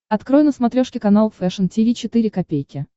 открой на смотрешке канал фэшн ти ви четыре ка